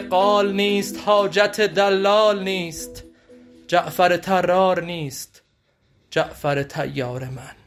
قال نیست حاجت دلال نیست جعفر طرار نیست جعفر طیار من